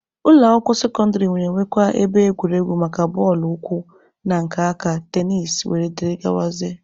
Ụlọ akwụkwọ sekọndịrị na-enwekwa ebe egwuregwu maka bọọlụ ụkwụ na nke aka, tenisi, wdg.